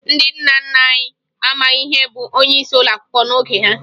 Ndị nna nna anyị amaghị ihe bụ onyeisi ụlọakwụkwọ n'oge ha